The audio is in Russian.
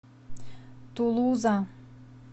тулуза